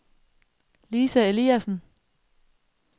Lisa Eliasen